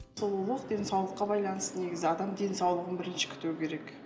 сұлулық денсаулыққа байланысты негізі адам денсаулығын бірінші күтуі керек